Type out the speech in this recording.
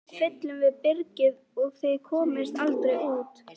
Nú fyllum við byrgið og þið komist aldrei út!